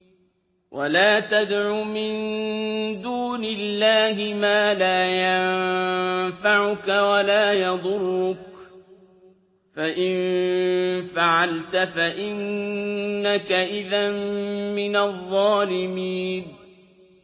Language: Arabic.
وَلَا تَدْعُ مِن دُونِ اللَّهِ مَا لَا يَنفَعُكَ وَلَا يَضُرُّكَ ۖ فَإِن فَعَلْتَ فَإِنَّكَ إِذًا مِّنَ الظَّالِمِينَ